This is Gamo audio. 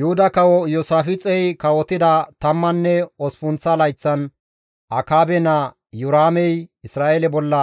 Yuhuda kawo Iyoosaafixey kawotida tammanne osppunththa layththan Akaabe naa Iyoraamey Isra7eele bolla